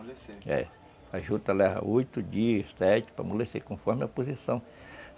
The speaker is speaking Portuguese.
É, a juta leva oito dias, sete, para amolecer conforme a posição.